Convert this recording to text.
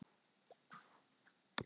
Spyr alla ráðherra um ráðstöfunarfé